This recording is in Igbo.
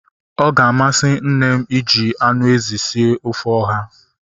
Ọ ga-amasị nne m iji anụ ezi sie ofe ọha